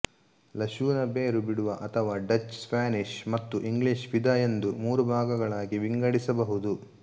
ಲಶುನ ಬೇರು ಬಿಡುವ ಅಥವಾ ಡಚ್ ಸ್ಪ್ಯಾನಿಷ್ ಮತ್ತು ಇಂಗ್ಲಿಷ್ ವಿಧ ಎಂದು ಮೂರು ಭಾಗಗಳಾಗಿ ವಿಂಗಡಿಸಬಹುದು